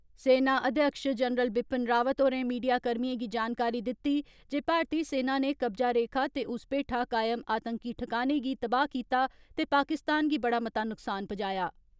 सेना अध्यक्ष जनरल बिपिन रावत होरें मीडिया कर्मियें गी जानकारी दिती जे भारतीय सेना नै कब्जा रेखा ते उस पेठा कामय आतंकी ठिकाने गी तबाह कीता ते पाकिस्तान गी बड़ा मता नुक्सान पजाया।